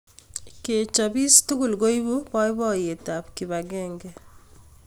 Kechopis tugul koipu boiboiyet ak kipakenge